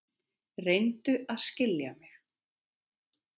Reyndu að skilja mig.